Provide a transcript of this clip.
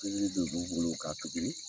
Pikiri de b' bolo k'a pikiri.